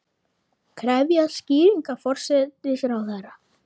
Krefjast skýringa forsætisráðherra